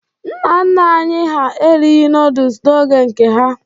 Nna nna anyị ha erighi nọdụs n'oge nke ha.